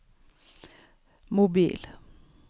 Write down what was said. mobil